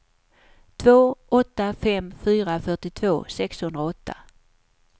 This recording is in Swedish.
två åtta fem fyra fyrtiotvå sexhundraåtta